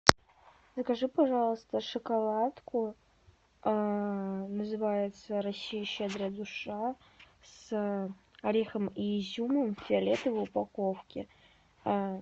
закажи пожалуйста шоколадку называется россия щедрая душа с орехом и изюмом в фиолетовой упаковке